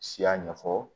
Siya ɲɛfɔ